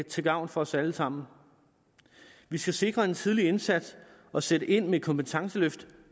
til gavn for os alle sammen vi skal sikre en tidlig indsats og sætte ind med kompetenceløft